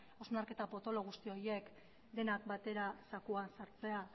hausnarketa potolo guzti horiek denak batera zakuan sartzea